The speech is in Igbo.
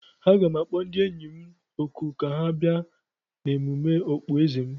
Aga m akpọ ndị enyi m òkù ka ha bịa n'emume okpueze ahu.